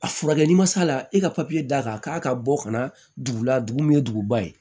A furakɛ ni ma s'a la e ka papiye d'a kan k'a ka bɔ kana dugu la dugu min ye duguba ye